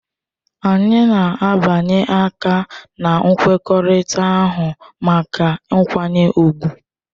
Anyị na-abịanye aka na nkwekọrịta ahụ maka nkwanye ùgwù.